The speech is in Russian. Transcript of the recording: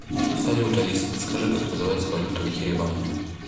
салют алиса подскажи как называется валюта в ереване